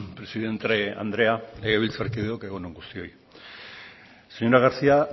presidente andrea legebiltzarkideok egun on guztioi señora garcía